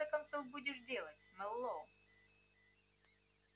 что ты в конце концов будешь делать мэллоу